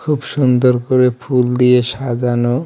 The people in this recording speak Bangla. খুব সুন্দর করে ফুল দিয়ে সাজানো.